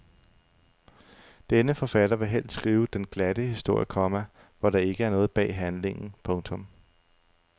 Denne forfatter vil helst skrive den glatte historie, komma hvor der ikke er noget bag handlingen. punktum